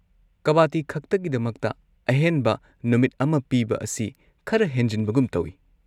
ꯀꯕꯥꯗꯤꯈꯛꯇꯒꯤꯗꯃꯛꯇ ꯑꯍꯦꯟꯕ ꯅꯨꯃꯤꯠ ꯑꯃ ꯄꯤꯕ ꯑꯁꯤ ꯈꯔ ꯍꯦꯟꯖꯤꯟꯕꯒꯨꯝ ꯇꯧꯋꯤ꯫